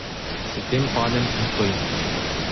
S tem padem in stojim.